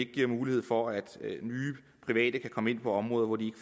giver mulighed for at nye private kan komme ind på området hvor de